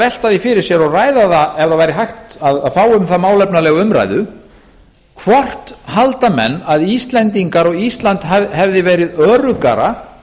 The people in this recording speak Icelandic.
velta því fyrir sér og ræða það ef það væri hægt að fá um það málefnalega umræðu hvort halda menn að íslendingar og ísland hefði verið öruggara